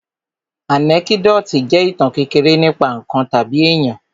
Ànẹ́kídòtì jẹ́ ìtàn kékeré nípa ǹkan tàbí èyàn.